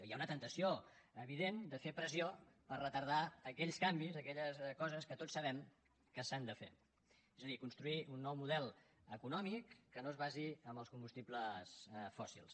hi ha una temptació evident de fer pressió per retardar aquells canvis aquelles coses que tots sabem que s’han de fer és a dir construir un nou model econòmic que no es basi en els combustibles fòssils